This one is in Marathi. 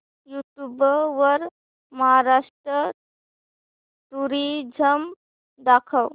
यूट्यूब वर महाराष्ट्र टुरिझम दाखव